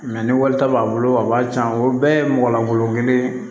ni wari t'a b'a bolo a b'a diyan o bɛɛ ye mɔgɔlankolon kelen ye